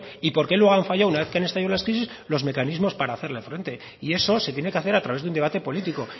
y por qué luego han fallado una vez que han estallado las crisis los mecanismos para hacerle frente y eso se tiene que hacer a través de un debate político